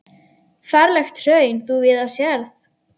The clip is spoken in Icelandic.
Ferlegt hraun þú víða sérð.